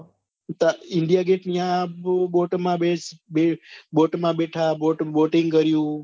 india gate યા boat માં બે બે boat માં બેઠા boating કર્યું